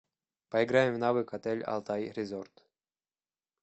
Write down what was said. поиграем в навык отель алтай резорт